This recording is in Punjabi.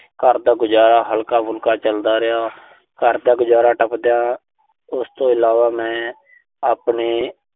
ਘਰ ਦਾ ਗੁਜ਼ਾਰਾ ਹਲਕਾ-ਫੁਲਕਾ ਚਲਦਾ ਰਿਹਾ। ਘਰ ਦਾ ਗੁਜ਼ਾਰਾ ਟੱਪਦਿਆਂ ਉਸ ਤੋਂ ਇਲਾਵਾ ਮੈਂ ਆਪਣੇ